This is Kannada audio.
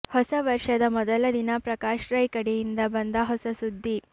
ಹೊಸ ವರ್ಷದ ಮೊದಲ ದಿನ ಪ್ರಕಾಶ್ ರೈ ಕಡೆಯಿಂದ ಬಂದ ಹೊಸ ಸುದ್ದಿ